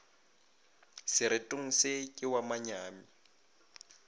seretong se ke wa manyami